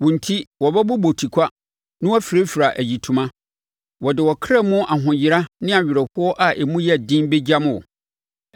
Wo enti wɔbɛbobɔ tikwa na wɔafirafira ayitoma. Wɔde ɔkra mu ahoyera ne awerɛhoɔ a emu yɛ den bɛgyam wo.